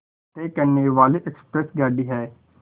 तय करने वाली एक्सप्रेस गाड़ी है